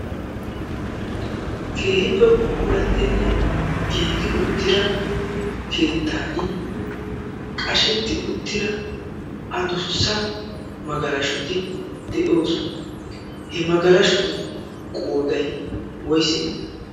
keehippe puulattinne giigi uttira keettan qashetti uttira adussa magalashuti de'oosona he magalashuti qoodai woise